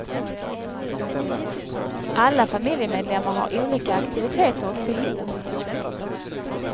Alla familjemedlemmar har olika aktiviteter och behov.